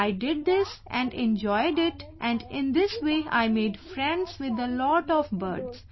I did this and enjoyed it and in this way I made friends with a lot of birds